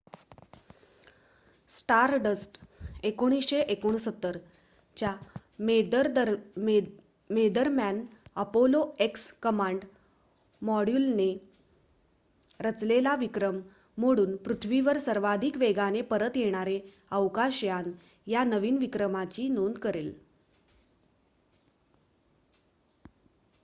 stardust १९६९ च्या मेदरम्यान Apollo X command मॉड्यूलने रचलेला विक्रम मोडून पृथ्वीवर सर्वाधिक वेगाने परत येणारे अवकाशयान या नवीन विक्रमाची नोंद करले